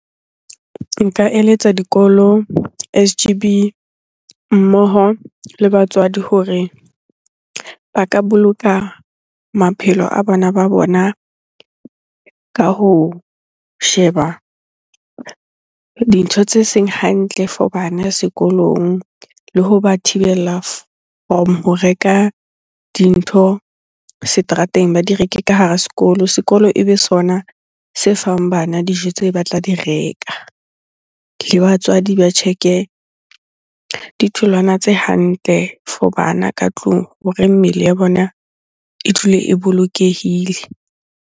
Nka eletsa dikolo, S_G_B mmoho le batswadi hore ba ka boloka maphelo a bana ba bona ka ho sheba dintho tse seng hantle for bana sekolong. Le hoba thibela from ho reka dintho seterateng, ba di reke ka hara sekolo. Sekolo ebe sona se fang bana dijo tse ba tla di reka. Le batswadi ba check-e ditholwana tse hantle for bana ka tlung hore mmele ya bona e dule e bolokehile.